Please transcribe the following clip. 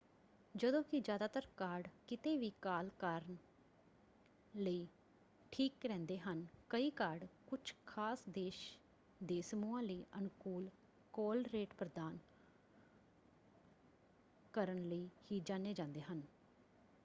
ਜਦੋਂ ਕਿ ਜ਼ਿਆਦਾਤਰ ਕਾਰਡ ਕਿਤੇ ਵੀ ਕਾਲ ਕਰਨ ਲਈ ਠੀਕ ਰਹਿੰਦੇ ਹਨ ਕਈ ਕਾਰਡ ਕੁਝ ਖਾਸ ਦੇਸ਼ ਦੇ ਸਮੂਹਾਂ ਲਈ ਅਨੁਕੂਲ ਕਾਲ ਰੇਟ ਪ੍ਰਦਾਨ ਕਰਨ ਲਈ ਹੀ ਜਾਣੇ ਜਾਂਦੇ ਹਨ।